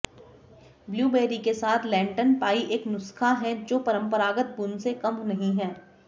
blueberry के साथ Lenten pie एक नुस्खा है जो परंपरागत बुन से कम नहीं है